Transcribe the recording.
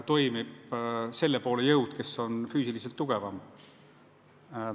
Toimib selle poole jõud, kes on füüsiliselt tugevam.